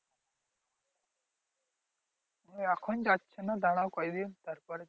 এখন যাচ্ছে না দাঁড়াও কয়েকদিন তারপরে।